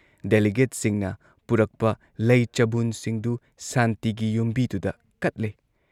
ꯗꯦꯂꯤꯒꯦꯠꯁꯤꯡꯅ ꯄꯨꯔꯛꯄ ꯂꯩ ꯆꯕꯨꯟꯁꯤꯡꯗꯨ ꯁꯥꯟꯇꯤꯒꯤ ꯌꯨꯝꯕꯤꯗꯨꯗ ꯀꯠꯂꯦ ꯫